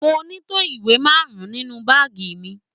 Mo ní tó ìwé márùn-ún nínú báàgì mi.